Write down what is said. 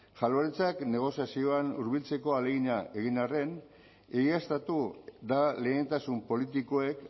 jaurlaritzak negoziazioan hurbiltzeko ahalegina egin arren egiaztatu da lehentasun politikoek